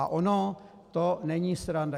A ono to není sranda.